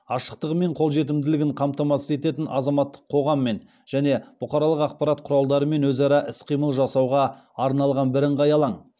ашықтығы мен қолжетімділігін қамтамасыз ететін азаматтық қоғаммен және бұқаралық ақпарат құралдарымен өзара іс қимыл жасауға арналған бірыңғай алаң